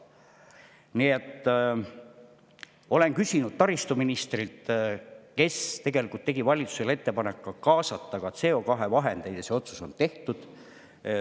Olen küsinud selle kohta taristuministrilt, kes tegi valitsusele ettepaneku kaasata ka CO2 vahendeid, ja see otsus on tehtud.